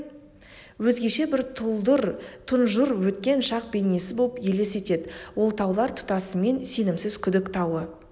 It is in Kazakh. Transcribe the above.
өзгеше бір тұлдыр тұнжыр өткен шақ бейнесі боп елес етеді ол таулар тұтасымен сенімсіз күдік тауы